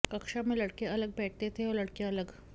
कक्षा में लड़के अलग बैठते थे और लड़कियां अलग